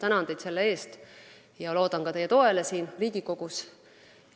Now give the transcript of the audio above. Tänan teid selle eest ja loodan ka teie toele siin Riigikogus.